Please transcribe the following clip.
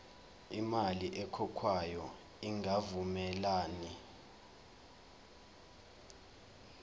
imali ekhokhwayo ingavumelani